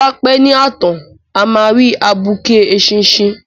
Bí a bá pẹ́ ní ààtàn a máa rí abuké eṣinṣin.